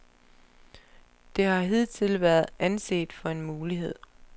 Det har hidtil været anset for en mulighed.